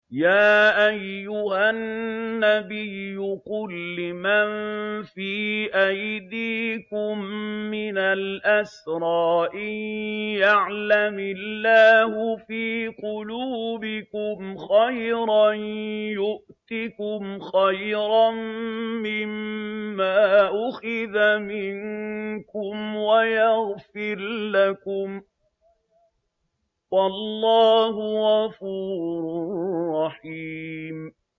يَا أَيُّهَا النَّبِيُّ قُل لِّمَن فِي أَيْدِيكُم مِّنَ الْأَسْرَىٰ إِن يَعْلَمِ اللَّهُ فِي قُلُوبِكُمْ خَيْرًا يُؤْتِكُمْ خَيْرًا مِّمَّا أُخِذَ مِنكُمْ وَيَغْفِرْ لَكُمْ ۗ وَاللَّهُ غَفُورٌ رَّحِيمٌ